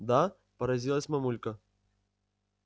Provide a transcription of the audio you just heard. да поразилась мамулька